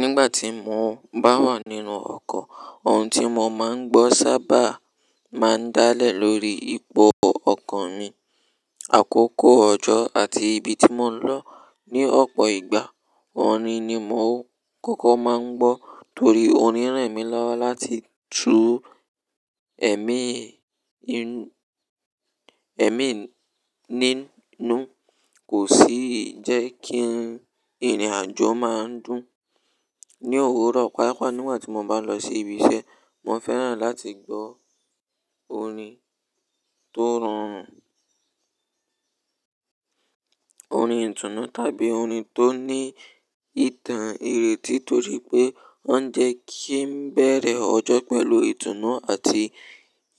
Nígbà tí mo bá wà nínú ọkọ̀, ohun tí mo máa ń gbọ́ sábà máa ń dálẹ̀ lórí ipò ọkan mi, àkókò ọjọ́ àti ibi tí mò ń lọ ní ọ̀pọ̀ ìgbà. Orin ni mò ń kókó máa ń gbọ́ torí orin ran emi lọ́wọ́ láti tú ẹ̀mí inú, ẹ̀mí nínú. Kò sì jẹ́ kí ìrìnàjò máa dùn. Ni òwúrọ̀, pàápàá nígbà tí mo bá lọ sí ibi iṣẹ́, mo fẹ́ràn láti gbọ orin tó rọrùn, orin ìtùnú tàbí orin tó ní ìtàn ireti torí pé wọ́n jẹ́ kí ń bẹ̀rẹ̀ ọjọ́ pẹ̀lú ìtùnú àti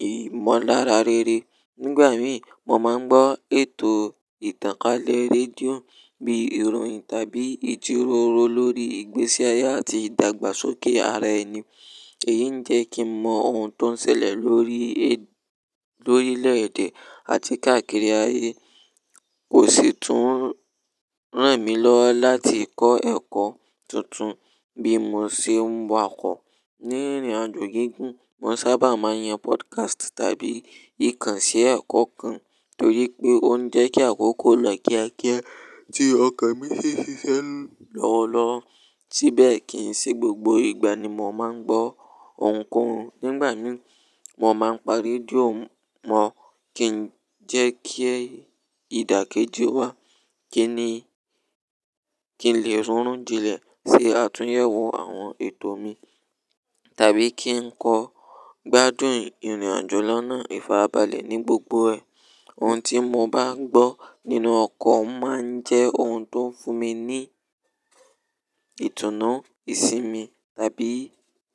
ìmọ̀lára rere. Nígbà mìí mo máa ń gbọ́ ètò ìtànkálẹ̀ rédíò bíi ìròyìn tàbí ìjíròrò lórí ìgbésí ayé àti ìdàgbàsókè ara ẹni. Èyí ń jẹ́ kí ń mọ ohun tó ń ṣẹlẹ̀ lórí, lórílẹ̀ èdè àti káàkiri ayé. Kò sì tún ràn mí lọ́wọ́ láti kọ́ ẹ̀kọ́ tuntun bí mo ṣe ń wọ ọkọ̀. Ní ìrìnàjò gígùn, mo sábà máa ń yan pọ́dkásìtì àbí ìkànṣẹ́ ẹ̀kọ́ kan torí pé ó ń jẹ́ kí àkókò lọ kíákíá tí ọkọ̀ mi ṣe ṣiṣẹ́ lọ́wọ́lọ́wọ́. Síbẹ̀ kì í ṣe gbogbo ìgbà ni mo máa ń gbọ́ ohunkóhun. Nígbà mìí mo máa ń pa rédíò mọ́ kí ń jẹ́ kí ìdàkejì wá, kí ni, kí n lè rún ìjìnlẹ̀ sí àtúnyẹ̀wò àwọn ètò mi tàbí kí ń kọ́ gbádùn ìrìnàjò lọ́nà ìfarabalẹ̀ ní gbogbo rẹ̀. Ohun tí mo bá gbọ́ nínú ọkọ̀ máa ń jẹ́ ohun tó ń fún mi ní ìtùnú, ìsinmi tàbí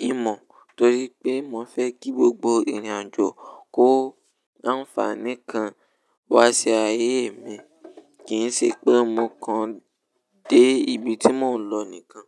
ìmọ̀ torí pé mo fẹ́ kí gbogbo ìrìnàjò kó àǹfààní kan wá sí ayé mi, kì í ṣe pé mo kan dé ibi tí mò ń lọ nìkan.